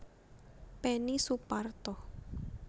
Peni Suparto